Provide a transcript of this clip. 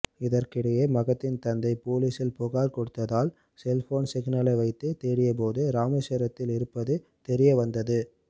இதற்கிடையே மகத்தின் தந்தை பொலிசில் புகார் கொடுத்ததால் செல்போன் சிக்னலை வைத்து தேடியபோது ராமேஸ்வரத்தில் இருப்பது தெரியவந்தது